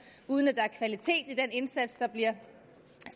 uden at der er kvalitet i den indsats der bliver